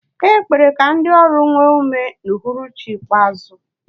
A kpere ka ndị ọrụ nwee ume n'uhuruchi ikpeazụ.